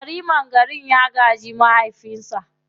Yariman garin ya gaji mahaifinsa.